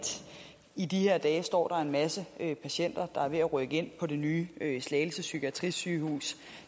i de her dage står der en masse patienter der er ved at rykke ind på det nye slagelse psykiatrisygehus